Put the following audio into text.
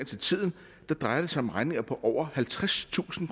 til tiden drejer det sig om regninger på over halvtredstusind